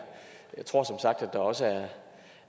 jeg tror som sagt at der også